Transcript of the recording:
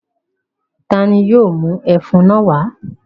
Ta ni yóò mú ẹfun náà wá?